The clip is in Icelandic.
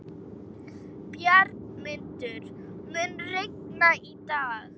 Bjargmundur, mun rigna í dag?